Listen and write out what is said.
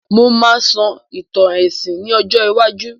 Mo máà sọ ìtàn èsìn ní ọjọ́ iwájú